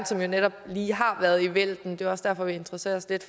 som jo netop lige har været i vælten det er også derfor vi interesserer os lidt